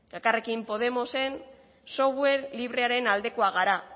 eta elkarrekin podemosen software librearen aldekoak gara